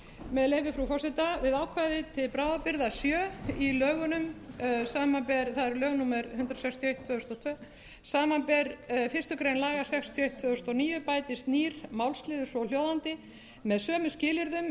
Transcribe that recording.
með leyfi frú forseta með ákvæði til bráðabirgða sjö í lögunum það eru lög númer hundrað sextíu og eitt tvö þúsund og tvö samanber fyrstu grein laga númer sextíu og eitt tvö þúsund og níu bætist nýr málsliður svohljóðandi með sömu skilyrðum er